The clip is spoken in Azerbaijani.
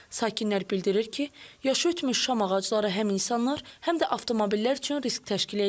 Sakinlər bildirir ki, yaşı ötmüş şam ağacları həm insanlar, həm də avtomobillər üçün risk təşkil eləyir.